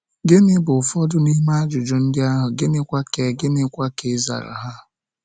Gịnị bụ ụfọdụ n’ime ajụjụ ndị ahụ, gịnịkwa ka e gịnịkwa ka e zara ha?